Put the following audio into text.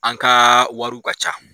An ka wariw ka ca.